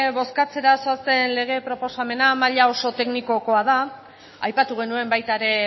bozkatzera zoazen lege proposamena maila oso teknikokoa da aipatu genuen baita ere